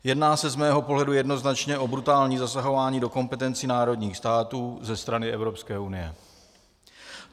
Jedná se z mého pohledu jednoznačně o brutální zasahování do kompetencí národních států ze strany Evropské unie.